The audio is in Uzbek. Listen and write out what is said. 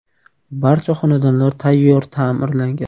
Barcha xonadonlar tayyor ta’mirlangan.